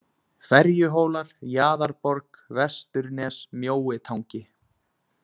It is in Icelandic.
Ferjuhólar, Jaðarborg, Vesturnes, Mjóitangi